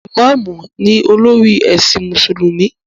Ìmáàmù ni olórí ẹ̀sìn Mùsùlùmí